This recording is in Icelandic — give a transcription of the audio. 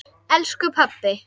elsku pabbi.